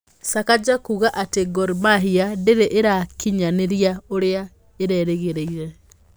Sakaja Kuuga ati Gor Mahia ndiri irakinyaniria uria erigirire